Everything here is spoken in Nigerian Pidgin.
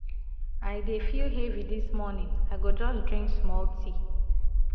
i dey feel heavy dis morning i go just drink small tea.